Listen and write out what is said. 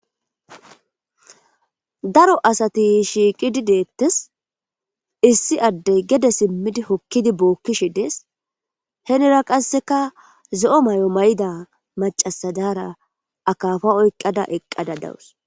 daro asati shiiqidi deettes issi addey gede simmidi hokkidi bookkishi dees henera qasseka ze7o may7o may7ida macasadara akaafa oyqqada eqqada dawus